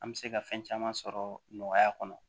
An bɛ se ka fɛn caman sɔrɔ nɔgɔya kɔnɔ